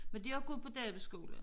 Men de har gået på Davidsskolen